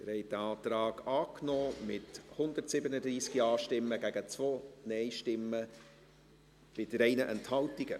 Sie haben diesen Antrag angenommen, mit 137 Ja- gegen 2 Nein-Stimmen bei 3 Enthaltungen.